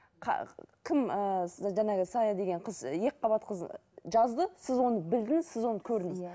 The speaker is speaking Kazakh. кім ііі жаңағы сая деген қыз екіқабат қыз жазды сіз оны білдіңіз сіз оны көрдіңіз иә